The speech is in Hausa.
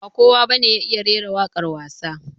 Ba kowa ba ne ya iya rera waƙwar wasa